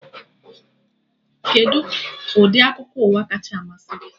Kedụ ndị akụkọ ụwa kacha amasị gị?